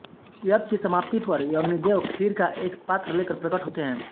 यज्ञ की समाप्ति पर अग्निदेव खीर का एक पात्र लेकर प्रकट होते हैं